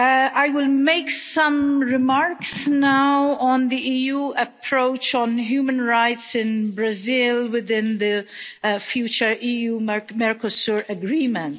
I will make some remarks now on the EU approach on human rights in Brazil within the future EU Mercosur Agreement.